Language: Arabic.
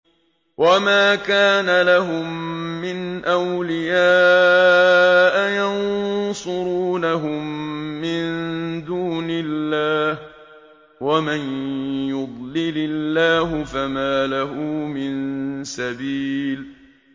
وَمَا كَانَ لَهُم مِّنْ أَوْلِيَاءَ يَنصُرُونَهُم مِّن دُونِ اللَّهِ ۗ وَمَن يُضْلِلِ اللَّهُ فَمَا لَهُ مِن سَبِيلٍ